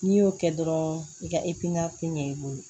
N'i y'o kɛ dɔrɔn i ka ɲɛ i bolo